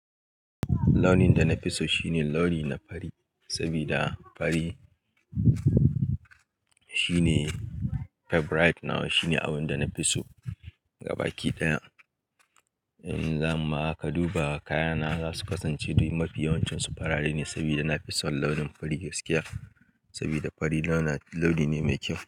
Launin da na fi so shine launi na fari, sabida fari shine favorite nawa shine abun da na fi so. Ga baki daya in za mu maka duba kaya na za su kasance duk mafi yawancinsu farare ne sabida na fi son launin fari gaskiya sabida fari launi ne mai kyau.